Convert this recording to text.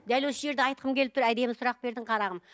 дәл осы жерде айтқым келіп тұр әдемі сұрақ бердің қарағым